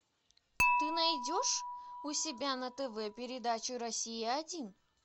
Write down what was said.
ты найдешь у себя на тв передачу россия один